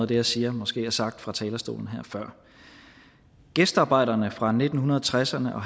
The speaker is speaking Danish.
det jeg siger måske er sagt her fra talerstolen før gæstearbejderne fra nitten tresserne og